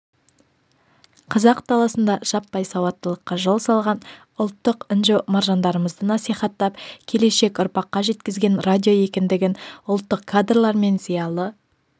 қазақ даласында жаппай сауаттылыққа жол салған ұлттық інжу-маржандарымызды насихаттап келешек ұрпаққа жеткізген радио екендігін ұлттық кадрлар мен зиялы